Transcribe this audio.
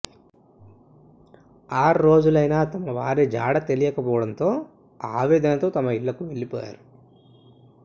ఆరు రోజులైనా తమ వారి జాడ తెలియకపోవడంతో ఆవేదనతో తమ ఇళ్లకు వెళ్లిపోయారు